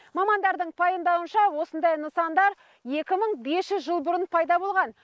мамандардың пайымадауынша осындай нысандар екі мың бес жүз жыл бұрын пайда болған